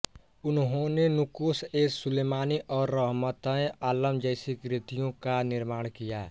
उन्होंने नुकोशएसुलेमानी और रहमतएआलम जैसी कृतियों का निर्माण किया